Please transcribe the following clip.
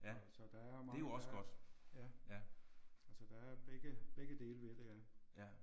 Så så der er mange der er ja. Så der er begge begge dele ved det ja